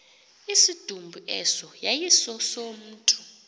isidumbu eso yayisesomntu